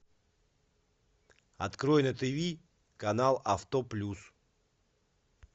открой на тиви канал авто плюс